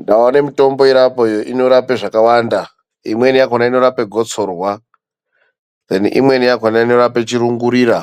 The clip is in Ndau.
Ndaona mutombo iri apo iyo inorapa zvakawanda , imweni yakona inorapa gotsorwa, imweni yakona inorape chirungurira.